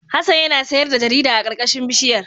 Hassan yana sayar da jarida a karkashin bishiyar.